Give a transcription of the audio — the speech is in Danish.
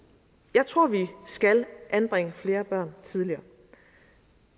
jeg tror at vi skal anbringe flere børn tidligere